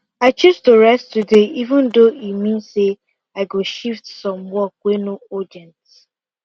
i choose to rest today even though e mean say i go shift some work wey no urgent